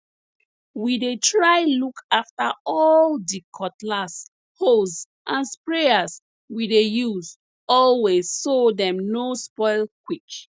we dey try look after all di cutlass hoes and sprayers we dey use always so dem no spoil quick